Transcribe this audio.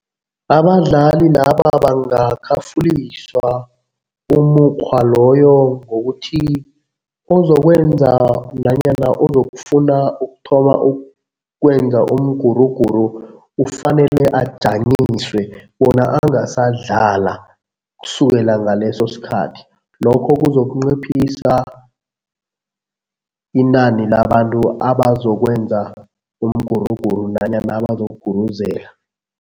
Abadlali laba bangakhafuliswa umukghwa loyo ngokuthi ozokwenza nanyana ozokufuna ukuthoma ukwenza umguruguru ufanele ajanyiswe bona angasadlala kusukela ngaleso sikhathi. Lokho kuzokunciphisa inani labantu abazokwenza umguruguru nanyana abazokuguruzela.